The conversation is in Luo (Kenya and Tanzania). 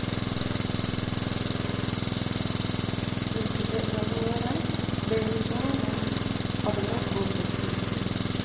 Tich e alwora, bero somo, kod lokruok e chike.